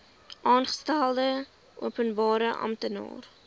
aangestelde openbare amptenaar